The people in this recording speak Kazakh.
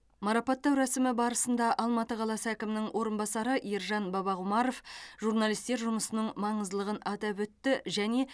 марапаттау рәсімі барысында алматы қаласы әкімінің орынбасары ержан бабақұмаров журналистер жұмысының маңыздылығын атап өтті және